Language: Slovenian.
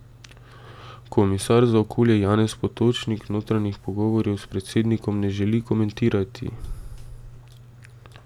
Komisar za okolje Janez Potočnik notranjih pogovorov s predsednikom ne želi komentirati.